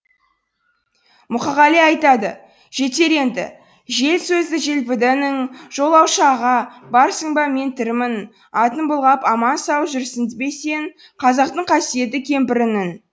мұқағали айтады жетер енді жел сөзді желпіді інің жолаушы аға барсың ба мен тірімін атын былғап аман сау жүрсің бе сен қазақтың қасиетті кемпірінің